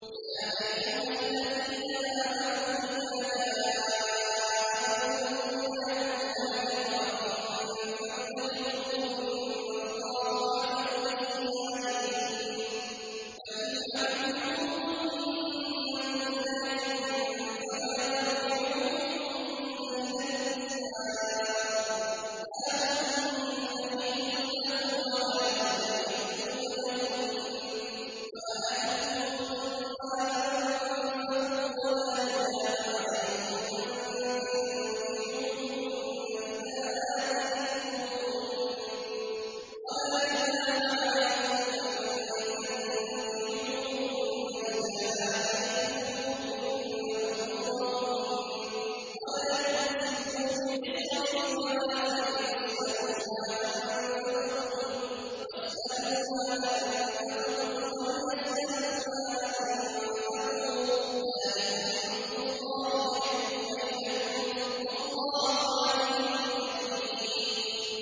يَا أَيُّهَا الَّذِينَ آمَنُوا إِذَا جَاءَكُمُ الْمُؤْمِنَاتُ مُهَاجِرَاتٍ فَامْتَحِنُوهُنَّ ۖ اللَّهُ أَعْلَمُ بِإِيمَانِهِنَّ ۖ فَإِنْ عَلِمْتُمُوهُنَّ مُؤْمِنَاتٍ فَلَا تَرْجِعُوهُنَّ إِلَى الْكُفَّارِ ۖ لَا هُنَّ حِلٌّ لَّهُمْ وَلَا هُمْ يَحِلُّونَ لَهُنَّ ۖ وَآتُوهُم مَّا أَنفَقُوا ۚ وَلَا جُنَاحَ عَلَيْكُمْ أَن تَنكِحُوهُنَّ إِذَا آتَيْتُمُوهُنَّ أُجُورَهُنَّ ۚ وَلَا تُمْسِكُوا بِعِصَمِ الْكَوَافِرِ وَاسْأَلُوا مَا أَنفَقْتُمْ وَلْيَسْأَلُوا مَا أَنفَقُوا ۚ ذَٰلِكُمْ حُكْمُ اللَّهِ ۖ يَحْكُمُ بَيْنَكُمْ ۚ وَاللَّهُ عَلِيمٌ حَكِيمٌ